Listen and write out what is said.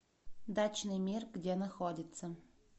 дачный мир где находится